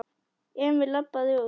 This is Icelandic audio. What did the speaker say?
Emil labbaði út.